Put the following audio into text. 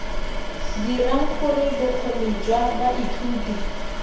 dirang gore bokgoni jwa baithuti